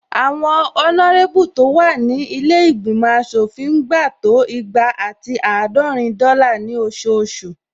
Àwọn ọnárébù tó wà ní ilé ìgbìmọ̀ aṣòfin ń gba to igba ati àádọ́rin dọ́là ní ososù